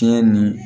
Tiɲɛ ni